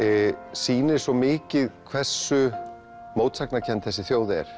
sýnir svo mikið hversu mótsagnakennd þessi þjóð er